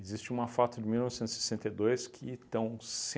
Existe uma foto de mil novecentos e sessenta e dois que estão